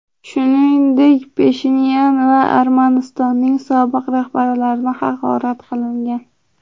Shuningdek, Pashinyan va Armanistonning sobiq rahbarlarini haqorat qilingan.